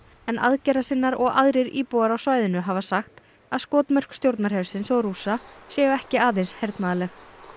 en og aðrir íbúar á svæðinu hafa sagt að skotmörk stjórnarhersins og Rússa séu ekki aðeins hernaðarleg